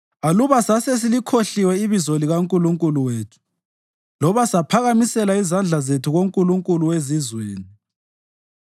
Aluba sasesilikhohliwe ibizo likaNkulunkulu wethu loba saphakamisela izandla zethu kunkulunkulu wezizweni,